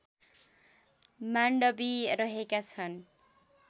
माण्डवी रहेका छन्